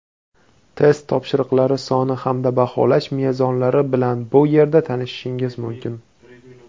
test topshiriqlari soni hamda baholash mezonlari bilan bu yerda tanishishingiz mumkin.